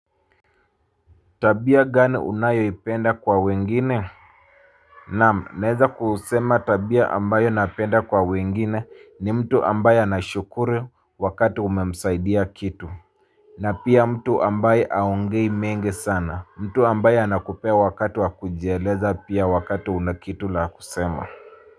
Tabia gani unayoipenda kwa wengine? Naam, naeza kusema tabia ambayo napenda kwa wengine ni mtu ambaye anashukuru wakati umesaidia kitu. Na pia mtu ambaye haongei mengi sana. Mtu ambaye anakupea wakati wa kujieleza pia wakati una kitu a kusema.